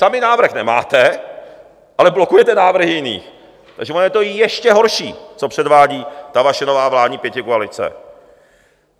Sami návrh nemáte, ale blokujete návrhy jiných, takže ono je to ještě horší, co předvádí ta vaše nová vládní pětikoalice.